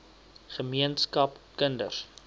ge meenskap kinders